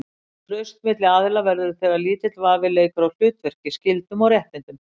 Traust milli aðila verður til þegar lítill vafi leikur á hlutverki, skyldum og réttindum.